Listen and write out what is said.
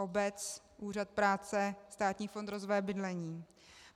Obec, úřad práce, Státní fond rozvoje bydlení.